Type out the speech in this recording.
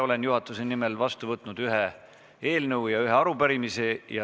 Olen juhatuse nimel vastu võtnud ühe eelnõu ja ühe arupärimise.